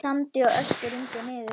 Sandi og ösku rigndi niður.